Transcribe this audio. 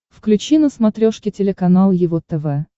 включи на смотрешке телеканал его тв